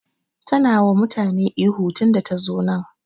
Tana ta yi wa mutane ihu tun da ta zo nan.